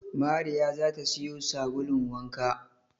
Mariya za ta siyo sabulun wanka